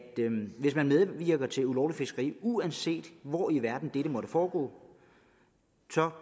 hvis man medvirker til ulovligt fiskeri uanset hvor i verden dette måtte foregå